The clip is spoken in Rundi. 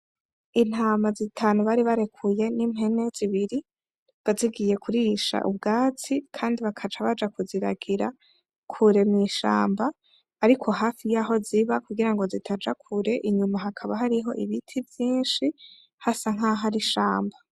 Intama zitanu bari barekuye nimpene zibiri zazigiye kurisha ubwatsi kandi bakaca baja kuziragira kure mwishamba ariko hafi yaho ziba kugirango zitaja kure inyuma hakaba hariho ibiti vyinshi hasa nkaho hari ishamba.